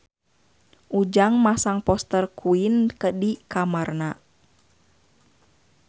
Ujang masang poster Queen di kamarna